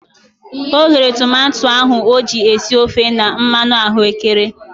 O ghere tomato ahu o ji esi ofe na mmanụ ahụekere.